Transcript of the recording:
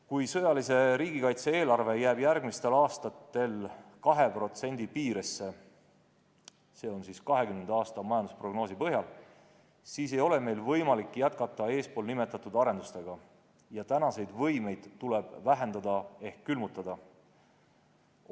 Kui sõjalise riigikaitse eelarve jääb järgmistel aastatel 2% piiresse – see on 2020. aasta majandusprognoosi põhjal –, siis ei ole meil võimalik jätkata eespool nimetatud arendustega ja seniseid võimeid tuleb vähendada ehk need külmutada.